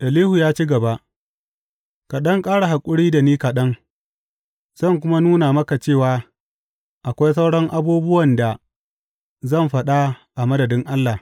Elihu ya ci gaba, Ka ɗan ƙara haƙuri da ni kaɗan, zan kuma nuna maka cewa akwai sauran abubuwan da zan faɗa a madadin Allah.